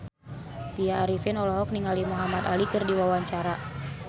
Tya Arifin olohok ningali Muhamad Ali keur diwawancara